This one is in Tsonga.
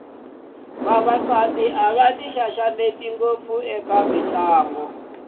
vavasati a va ti xaxameti ngopfu eka mitlangu